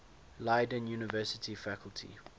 leiden university faculty